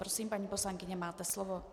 Prosím, paní poslankyně, máte slovo.